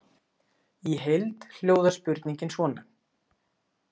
Í heild hljóðar spurningin svona